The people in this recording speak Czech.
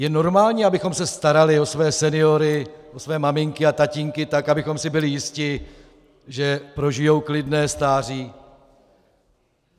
Je normální, abychom se starali o své seniory, o své maminky a tatínky tak, abychom si byli jisti, že prožijí klidné stáří?